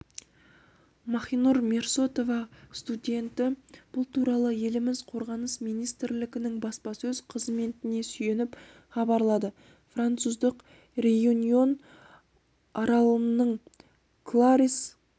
махинур мирсоатова студенті бұл туралы еліміз қорғаныс министрілігінің баспасөз қызметіне сүйеніп хабарлады француздық реюньон аралының кларисс